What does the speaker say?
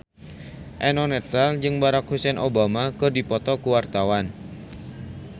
Eno Netral jeung Barack Hussein Obama keur dipoto ku wartawan